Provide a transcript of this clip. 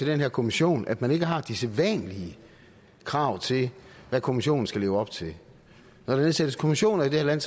den her kommission at man ikke har de sædvanlige krav til hvad kommissionen skal leve op til når der nedsættes kommissioner i det her